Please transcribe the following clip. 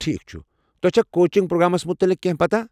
ٹھیكھ چھُ ، تۄہہِ چھا کوچنٛگ پرٛوگرٛامٕس مُتعلق کینہہ پتاہ ؟